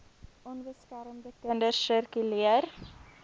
onbeskermde kinders sirkuleer